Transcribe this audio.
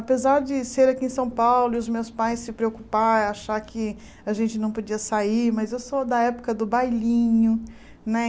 Apesar de ser aqui em São Paulo e os meus pais se preocuparem, acharem que a gente não podia sair, mas eu sou da época do bailinho, né?